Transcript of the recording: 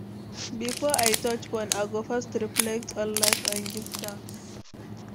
Before I touch phone, I go first reflect on life and give thanks.